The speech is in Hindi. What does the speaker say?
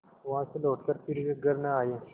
वहाँ से लौटकर फिर वे घर न आये